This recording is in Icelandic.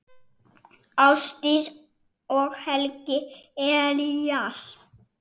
Ásdís og Helgi Elías.